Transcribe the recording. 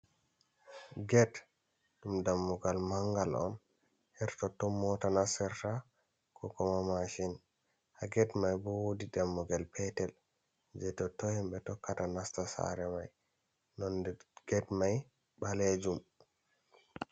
Get ɗum dammugal mangal on, hertot ton on mota nasserta, ko kuma mashin, haa get mai ɓo wodi dammugal peetel je totton himɓe tokkata nasta saare mai, nonde get mai ɓaleejum.